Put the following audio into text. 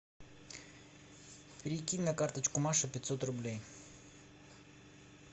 перекинь на карточку маши пятьсот рублей